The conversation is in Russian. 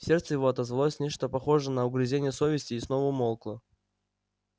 в сердце его отозвалось нечто похожее на угрызение совести и снова умолкло